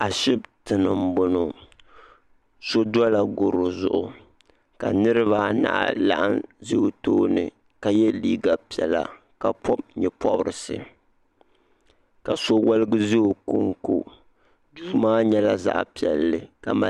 ashɛtɛni n bɔŋɔ so dola goro zuɣ ka niribaanahi laɣim ʒɛ o tuuni ka yɛ liga piɛlla ka pobi nyɛporisi ka so yɛligi ʒɛ o konkon do maa nyɛla zaɣ piɛli ka mali